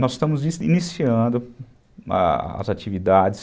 Nós estamos iniciando as atividades.